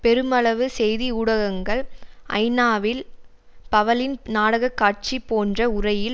பெருமளவு செய்தி ஊடகங்கள் ஐநாவில் பவலின் நாடக காட்சி போன்ற உரையில்